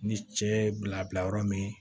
Ni cɛ ye bila bila yɔrɔ min